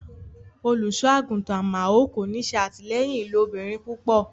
Olúṣọàgúntan Àmaò kò ní sẹ atílẹyìn ilòbìrín púpọ̀.